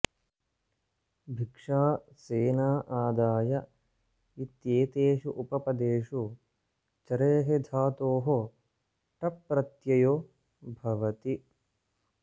भिक्षा सेना आदाय इत्येतेषु उपपदेषु चरेः धतोः टप्रत्ययो भवति